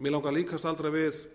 mig langar líka að staldra við